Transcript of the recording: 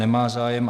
Nemá zájem.